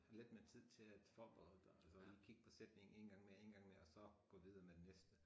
Lidt mere tid til at forberede dig altså lige kigge på sætningen en gang mere en gang mere og så gå videre med den næste